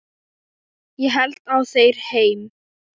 Ég held á þér heim.